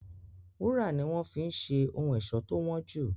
Wúrà ni wọ́n fi ń ṣe ohun ẹ̀ṣọ́ tó wọ́n jù.